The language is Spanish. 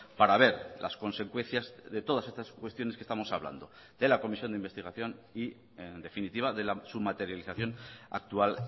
para ver las consecuencias de todas estas cuestiones que estamos hablando de la comisión de investigación y en definitiva de su materialización actual